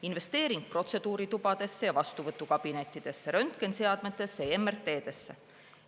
Investeering protseduuritubadesse ja vastuvõtukabinettidesse, röntgeniseadmetesse ja …sse.